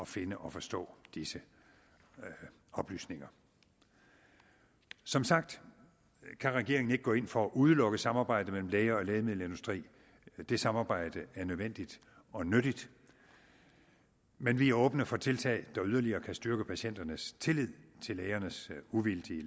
finde og forstå disse oplysninger som sagt kan regeringen ikke gå ind for at udelukket samarbejde mellem læger og lægemiddelindustri det samarbejde er nødvendigt og nyttigt men vi er åbne for tiltag der yderligere kan styrke patienternes tillid til lægernes uvildige